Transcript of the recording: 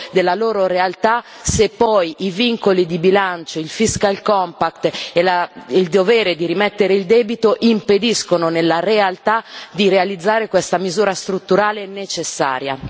della loro realtà se poi i vincoli di bilancio, il fiscal compact e il dovere di rimettere il debito impediscono nella realtà di realizzare questa misura strutturale necessaria.